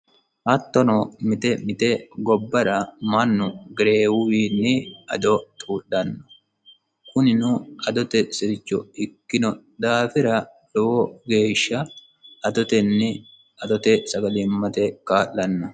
Hattono mite mite gobbara mannu gereewu ado xuudhanno kunnino adote sircho ikkino daafira lowo geesha sagalimmate kaa'lanno.